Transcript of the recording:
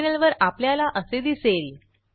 टर्मिनलवर आपल्याला असे दिसेल